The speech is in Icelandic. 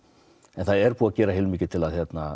en það er búið að gera heilmikið til að